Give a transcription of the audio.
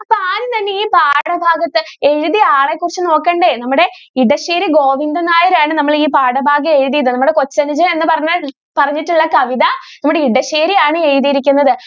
അപ്പോ ആദ്യം തന്നെ ഈ പാഠഭാഗത്ത് എഴുതിയ ആളെ കുറിച്ച് നോക്കണ്ടേ? നമ്മുടെ ഇടശ്ശേരി ഗോവിന്ദൻ നായരാണ് നമ്മടെ ഈ പാഠഭാഗം എഴുതിയത്. നമ്മുടെ കൊച്ചനുജൻ എന്ന് പറഞ്ഞ പറഞ്ഞിട്ടുള്ള കവിത നമ്മുടെ ഇടശ്ശേരി ആണ് എഴുതിയിരിക്കുന്നത്.